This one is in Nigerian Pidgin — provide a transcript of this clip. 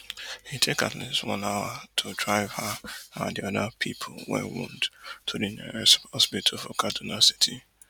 e take at least one hour to drive her and di oda pipo wey wound to di nearest hospital for kaduna city